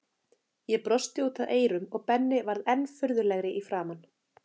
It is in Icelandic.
Ég brosti út að eyrum og Benni varð enn furðulegri í framan.